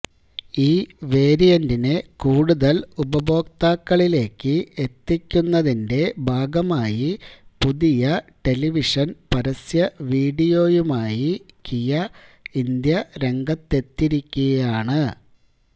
ഈ വേരിയന്റിനെ കൂടുതൽ ഉപഭോക്താക്കളിലേക്ക് എത്തിക്കുന്നതിന്റെ ഭാഗമായി പുതിയ ടെലിവിഷൻ പരസ്യ വീഡിയോയുമായി കിയ ഇന്ത്യ രംഗത്തെത്തിയിരിക്കുകയാണ്